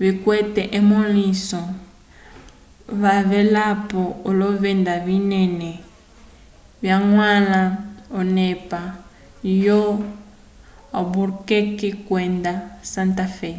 vikwete emõliso cavelapo olovenda vinene vyañgwãla onepa yo-albuquerque kwenda santa fé